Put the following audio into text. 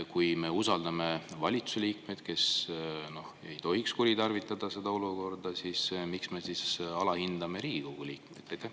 Kui me usaldame valitsuse liikmeid, kes ei tohiks kuritarvitada seda olukorda, siis miks me alahindame Riigikogu liikmeid?